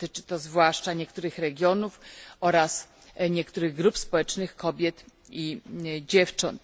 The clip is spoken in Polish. Dotyczy to zwłaszcza niektórych regionów oraz niektórych grup społecznych kobiet i dziewcząt.